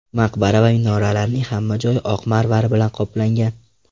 Maqbara va minoralarning hamma joyi oq marmar bilan qoplangan.